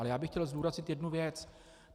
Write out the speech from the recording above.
Ale já bych chtěl zdůraznit jednu věc.